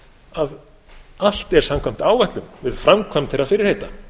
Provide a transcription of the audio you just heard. að allt er samkvæmt áætlun við framkvæmd þeirra fyrirheita